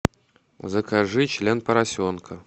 закажи член поросенка